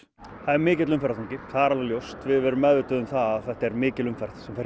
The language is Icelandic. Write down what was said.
er mikill umferðarþungi það er alveg ljóst við erum meðvituð um að þetta er mikil umferð sem fer